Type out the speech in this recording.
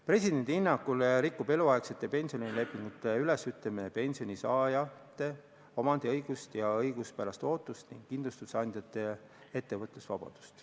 Presidendi hinnangul rikub eluaegsete pensionilepingute ülesütlemine pensionisaajate omandiõigust ja õiguspärast ootust, samuti kindlustusandjate ettevõtlusvabadust.